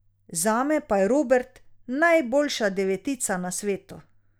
Zame pa je Robert najboljša devetica na svetu.